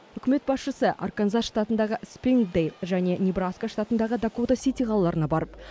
үкімет басшысы арканзас штатындағы спрингдейл және небраска штатындағы дакота сити қалаларына барып